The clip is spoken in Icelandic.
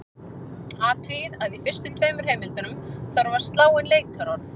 Athugið að í fyrstu tveimur heimildunum þarf að slá inn leitarorð.